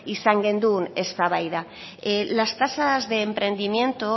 izan genuen eztabaida las tasas de emprendimiento